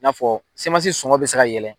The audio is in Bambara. I n'a fɔ sɔngɔ bI se